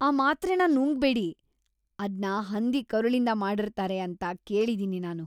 ಆ ಮಾತ್ರೆನ ನುಂಗ್ಬೇಡಿ. ಅದ್ನ ಹಂದಿ ಕರುಳಿಂದ ಮಾಡಿರ್ತಾರೆ ಅಂತ ಕೇಳಿದೀನಿ ನಾನು.